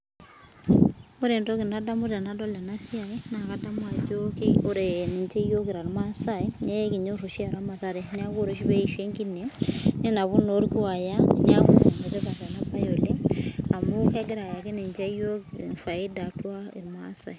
Ore entoki nadamu tenadol ena siai naa eramatare amu ore peeissho enkine ninap orkuo neeku ene tipata ena baye oleng negira sii ayaki yiook faida oleng